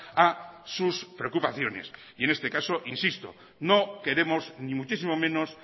a sus preocupaciones y en este caso insisto no queremos ni muchísimo menos